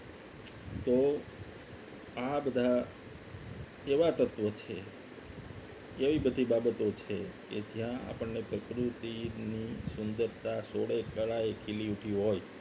તો આ બધા એવા તત્વો છે એવી બધી બાબતો છે કે જ્યાં આપણને પ્રકૃતિની સુંદરતા સોળે કરાયેલી ઉઠી હોય